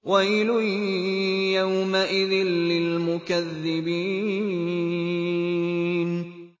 وَيْلٌ يَوْمَئِذٍ لِّلْمُكَذِّبِينَ